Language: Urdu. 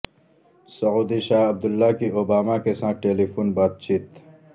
سعودی شاہ عبداللہ کی اوباما کے ساتھ ٹیلی فون بات چیت